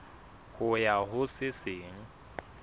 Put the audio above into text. ho ya ho se seng